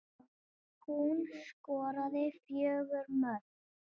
Hún skoraði fjögur mörk.